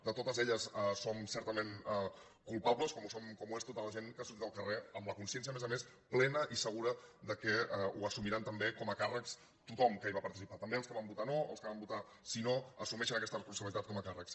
de totes en som certament culpables com ho és tota la gent que ha sor·tit al carrer amb la consciència a més a més plena i segura que ho assumirà també com a càrrec tothom que hi va participar també els que van votar no els que van votar sí·no assumeixen aquesta responsabili·tat com a càrrecs